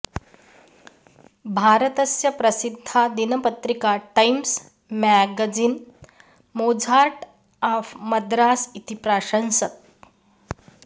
भारतस्य प्रसिद्धा दिनपत्रिका Times magazine Mozart of Madras इति प्राशंसत्